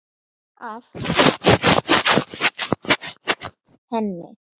Af hverju sneri hann baki við henni?